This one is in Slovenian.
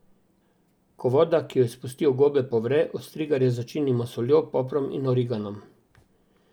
Ko voda, ki jo izpustijo gobe, povre, ostrigarje začinimo s soljo, poprom in origanom.